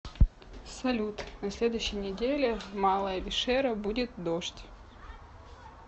салют на следующей неделе в малая вишера будет дождь